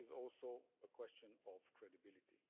It is also a question of credibility.